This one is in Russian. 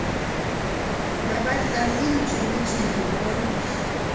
добавь в корзину черничный попкорн